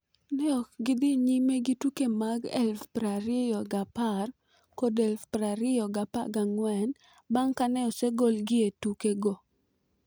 Ne ok gi dhi nyime gi tuke mag 2010 kod 2014 bang' kane osegolgi e tuke go.